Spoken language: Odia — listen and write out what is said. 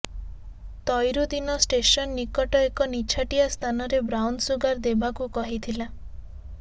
ତୈରୁଦ୍ଦିନ ଷ୍ଟେସନ ନିକଟ ଏକ ନିଛାଟିଆ ସ୍ଥାନରେ ବ୍ରାଉନସୁଗାର ଦେବାକୁ କହିଥିଲା